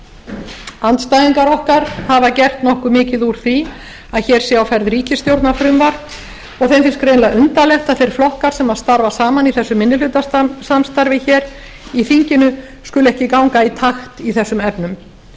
þess andstæðingar okkar hafa gert nokkuð mikið úr því að hér sé á ferðinni ríkisstjórnarfrumvarp og þeim finnst greinilega undarlegt að þeir flokkar sem starfa saman í þessu minnihlutasamstarfi hér í þinginu skuli ekki ganga í takt í þessum efnum